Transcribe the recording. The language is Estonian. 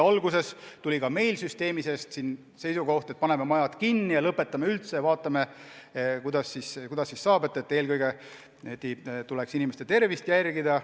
Alguses käidi ka meil süsteemis välja seisukoht, et paneme majad kinni ja lõpetame üldse, vaatame, kuidas edasi, ja et eelkõige tuleks inimeste tervise huve järgida.